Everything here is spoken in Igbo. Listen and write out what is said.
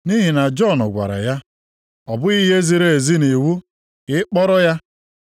Nʼihi na Jọn gwara ya, “Ọ bụghị ihe ziri ezi nʼiwu ka ị kpọrọ ya.”